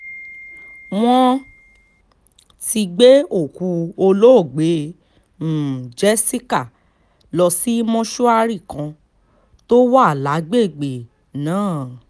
wọ́n ti gbé òkú olóògbé um jessica lọ sí mọ́ṣúárì kan tó wà lágbègbè um náà